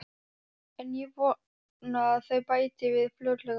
En ég vona að þau bæti við fljótlega.